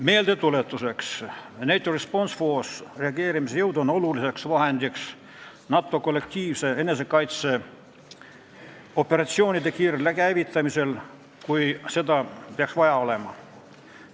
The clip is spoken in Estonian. Meeldetuletuseks, NATO Response Force reageerimisjõud on oluline tugi NATO kollektiivsete enesekaitseoperatsioonide kiirel käivitamisel, kui seda peaks vaja olema.